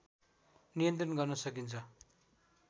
नियन्त्रण गर्न सकिन्छ